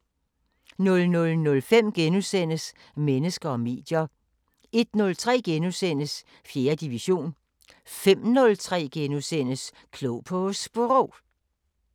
00:05: Mennesker og medier * 01:03: 4. division * 05:03: Klog på Sprog *